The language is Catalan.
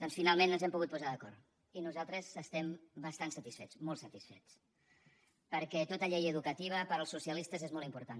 doncs finalment ens hem pogut posar d’acord i nosaltres estem bastant satisfets molt satisfets perquè tota llei educativa per als socialistes és molt important